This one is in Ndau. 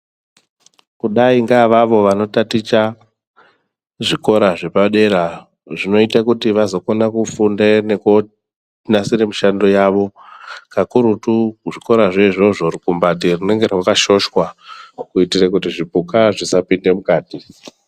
Kudayi ngeavavo vanotaticha kuzvikora zvepadera zvinoita kuti vazokona kufunde nekonasira mishando yavo pakurutu. Zvikora zvoizvozvo rukumbati runenge rwakashoshwa kuitira kuti zvipuka zvisapinda mukati.